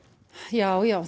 já já